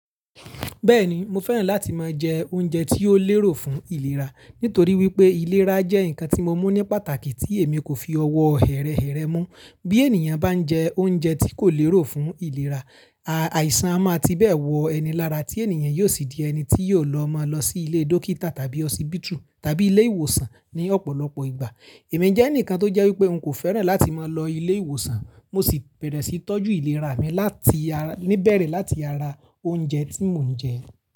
Bẹ́ẹ̀ni, mo fẹ́ràn láti máa jẹ oúnjẹ tí ó lérò fún ìlera, nítorí wípé ìlera jẹ́ ǹkan tí mo mú ní pàtàkì tí èmi kò fi ọwọ́ hẹ̀rẹhẹ̀rẹ mú. Bí ènìyàn bá ń jẹ oúnjẹ tí kò lérò fún ìlera, àìsàn a máa ti bẹ́ẹ̀ wọ ẹnil ara tí ènìyàn yóò sì di ẹni tí yóò lọ máa lọ sí ilé dókítà tàbí họsíbítù tàbí ilé ìwòsàn ní ọ̀pọ̀lọpọ̀ ìgbà. Èmi jẹ́ ẹnìkan tó jẹ́ wípé n kò fẹ́ràn láti máa lọ ilé ìwòsàn, mo sì bẹ̀rẹ̀ sí tọ́jú ìlera mi láti, níbẹ̀rẹ̀ láti ara oúnjẹ tí mò ń jẹ.